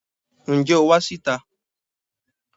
Ǹjẹ́ o wá sí ìta?